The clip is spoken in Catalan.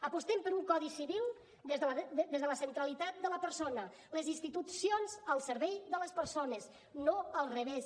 apostem per un codi civil des de la centralitat de la persona les institucions al servei de les persones no al revés